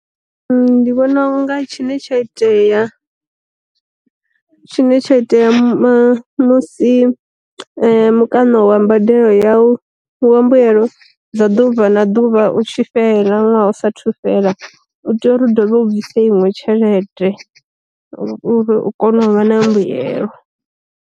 Ndi vhona unga tshine tsha itea tshine tsha itea ma musi mukano a mbadelo yau wa mbuelo dza ḓuvha na ḓuvha u tshi fhela ṅwaha u sa thu fhela, u tea uri u ḓovha u bvisa iṅwe tshelede u vhe u kone u vha na mbuyelo.